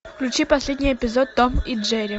включи последний эпизод том и джерри